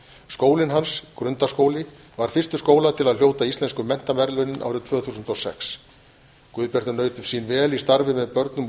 skólinn hans grundaskóli varð fyrstur skóla til að hljóta íslensku menntaverðlaunin árið tvö þúsund og sex guðbjartur naut sín vel í starfi með börnum og